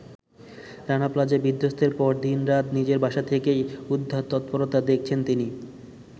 Rana Plaza বিধ্বস্তের পর দিন-রাত নিজের বাসা থেকেই উদ্ধার তৎপরতা দেখেছেন তিনি।